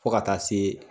Fo ka taa se